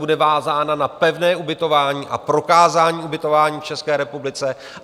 Bude vázána na pevné ubytování a prokázání ubytování v České republice.